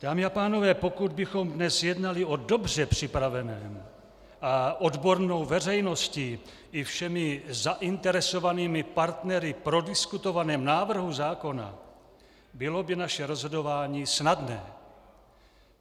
Dámy a pánové, pokud bychom dnes jednali o dobře připraveném a odbornou veřejností i všemi zainteresovanými partnery prodiskutovaném návrhu zákona, bylo by naše rozhodování snadné.